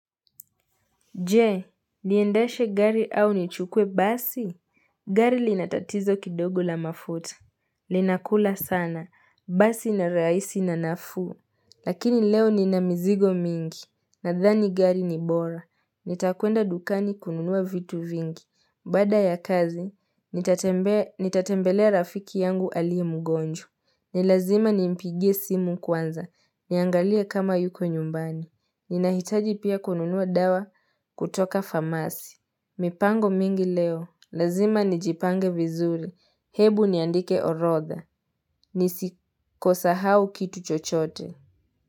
Je, niendeshe gari au nichukue basi? Gari linatatizo kidogo la mafuta. Linakula sana. Basi ni rahisi na nafuu. Lakini leo ni na mizigo nyingi. Nadhani gari ni bora. Nitakwenda dukani kununua vitu nyingi. Baada ya kazi, nitatembelea rafiki yangu aliye mgonjwa. Nilazima nimpigie simu kwanza. Niangalie kama yuko nyumbani. Ninahitaji pia kununua dawa. Kutoka famasi mipango mingi leo lazima nijipange vizuri hebu niandike orotha nisisahau kitu chochote.